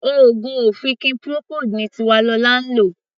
Oògùn ọ̀fìnkì Procold ni Tiwalolá ń lò.